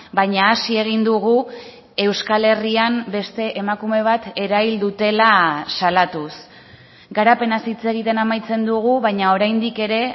baina hasi egin dugu euskal herrian beste emakume bat erail dutela salatuz garapenaz hitz egiten amaitzen dugu baina oraindik ere